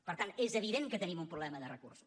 per tant és evident que tenim un problema de recursos